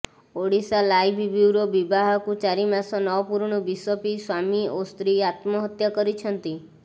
Odisha live bureau ବିବାହକୁ ଚାରି ମାସ ନ ପୂରୁଣୁ ବିଷ ପିଇ ସ୍ୱାମୀ ଓ ସ୍ତ୍ରୀ ଆତ୍ମହତ୍ୟା କରିଛନ୍ତି